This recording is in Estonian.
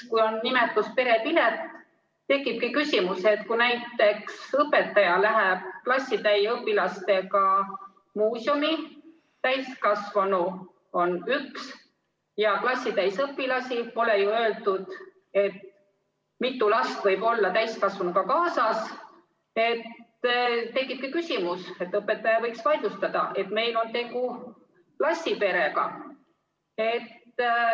Kui on nimetus perepilet, siis tekibki küsimus, et kui näiteks õpetaja läheb klassitäie õpilastega muuseumi, on üks täiskasvanu ja klassitäis õpilasi – pole ju öeldud, mitu last võib olla täiskasvanuga kaasas –, siis õpetaja võiks vaidlustada, et meil on tegu klassiperega.